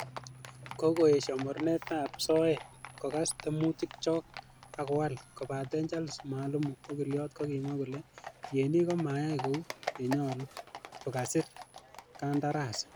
Kokoyesho mornetab soet, kogas temutik chok ak kowol, kobaten charles mwalimu, okiliot kokimwa kole tienik ko mayai kou ye nyolu ko kasir kandarasi.